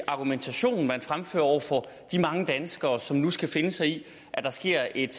argumentation man fremfører over for de mange danskere som nu skal finde sig i at der sker et